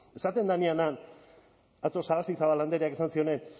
esaten denean han atzo sagastizabal andreak esan zioenean